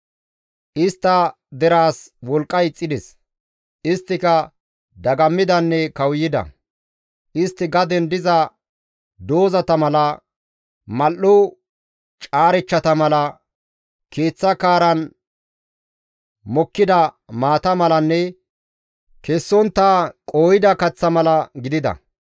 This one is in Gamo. Istta deraas wolqqay ixxides; isttika dagammidanne kawuyida. Istti gaden diza doozata mala, mul7o caarechchata mala, keeththa kaaran mokkida maata malanne kessontta qooyda kaththa mala gidida.